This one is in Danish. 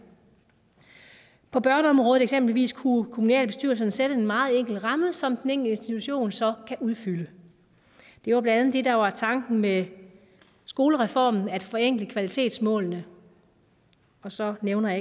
på børneområdet eksempelvis kunne kommunalbestyrelserne sætte en meget enkel ramme som den enkelte institution så kan udfylde det var blandt andet det der var tanken med skolereformen nemlig at forenkle kvalitetsmålene og så nævner